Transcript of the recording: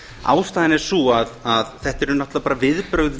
ástæðan er sú að þetta eru náttúrlega bara viðbrögð